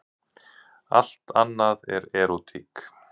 Allt annað er erótík.